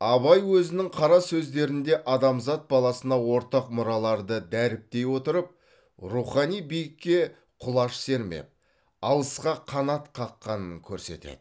абай өзінің қара сөздерінде адамзат баласына ортақ мұраларды дәріптей отырып рухани биікке құлаш сермеп алысқа қанат қаққанын көрсетеді